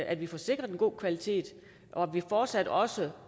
at vi får sikret en god kvalitet og at vi fortsat også